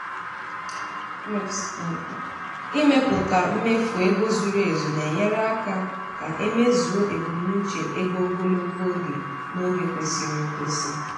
ịmepụta mmefu ego zuru ezu na-enyere aka ka e e mezuo ebumnuche ego ogologo oge n’oge kwesịrị ekwesị.